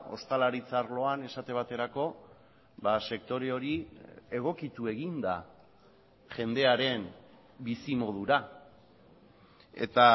ostalaritza arloan esate baterako sektore hori egokitu egin da jendearen bizimodura eta